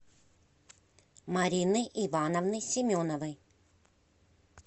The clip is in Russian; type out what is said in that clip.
марины ивановны семеновой